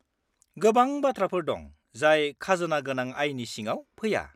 -गोबां बाथ्राफोर दं जाय खाजोना गोनां आयनि सिङाव फैया।